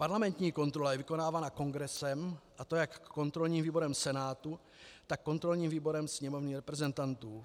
Parlamentní kontrola je vykonávaná Kongresem, a to jak kontrolním výborem Senátu, tak kontrolním výborem Sněmovny reprezentantů.